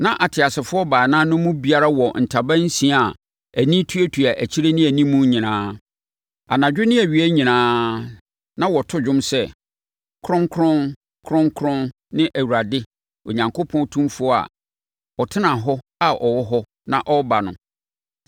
Na ateasefoɔ baanan no mu biara wɔ ntaban nsia a ani tuatua akyire ne animu nyinaa. Anadwo ne awia nyinaa na wɔto dwom sɛ, “Kronkron, Kronkron ne Awurade Onyankopɔn Otumfoɔ a ɔtenaa hɔ na ɔwɔ hɔ na ɔrebɛba no.”